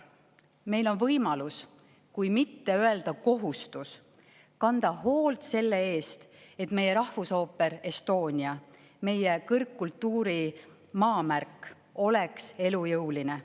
Meil on võimalus, kui mitte öelda kohustus, kanda hoolt selle eest, et Rahvusooper Estonia, meie kõrgkultuuri maamärk, oleks elujõuline.